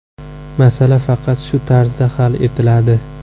Masala faqat shu tarzda hal etiladi.